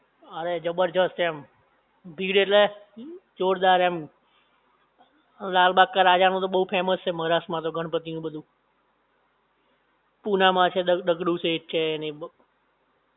અરે જબરદસ્ત એમ! ભીડ એટલે જોરદાર એમ! લાલબાગ કે રાજા માં તો બહુ ફેમસ છે મહારાષ્ટ્ર માં તો ગણપણતિ નું બધું પુના માં છે ને દગડુ શેઠ છે, ને એ બધું